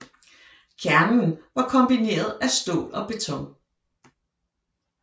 Kernen var kombineret af stål og beton